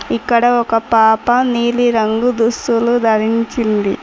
ఇక్కడ ఒక పాప నీలి రంగు దుస్తులు ధరించింది.